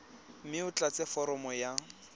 mme o tlatse foromo ya